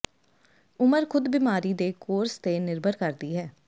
ਉਮਰ ਖ਼ੁਦ ਬਿਮਾਰੀ ਦੇ ਕੋਰਸ ਤੇ ਨਿਰਭਰ ਕਰਦੀ ਹੈ